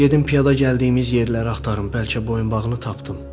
Gedim piyada gəldiyimiz yerləri axtarım, bəlkə boyunbağını tapdım,